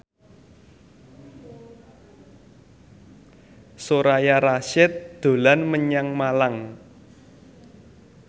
Soraya Rasyid dolan menyang Malang